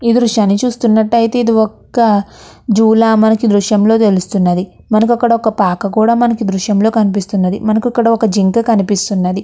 ఈ దృశ్యాన్ని చూస్తున్నట్లయితే ఇది ఒక జూ లాగ మనకి ఈ దృశ్యం లో తెలుస్తుంది. మనకి ఇక్కడ ఒక పాక కూడా మనకి దృశ్యం లో కనిపిస్తుంది. మనకి ఇక్కడ ఒక జింక అనిపిస్తూ ఉన్నది.